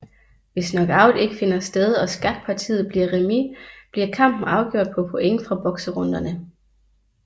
Hvis knockout ikke finder sted og skakpartiet bliver remis bliver kampen afgjort på point fra bokserunderne